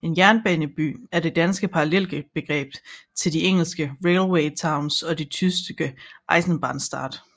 En jernbaneby er det danske parallelbegreb til de engelske railway towns og den tyske Eisenbahnstadt